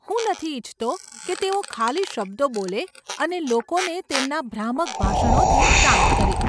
હું નથી ઈચ્છતો કે તેઓ ખાલી શબ્દો બોલે અને લોકોને તેમના ભ્રામક ભાષણોથી શાંત કરે.